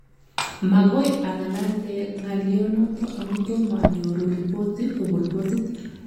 Magoi ang'alale ng'alyonoto amu tomo anyoru rebot kobun botit